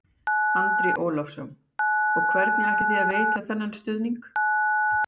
Andri Ólafsson: Og hvernig ætlið þið að veita þennan stuðning?